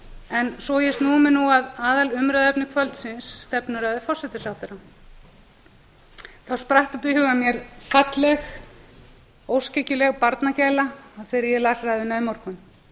en svo ég snúi mér að aðalumræðuefni kvöldsins stefnuræðu forsætisráðherra þá spratt upp í huga mér falleg óskhyggjuleg barnagæla þegar ég las ræðuna í morgun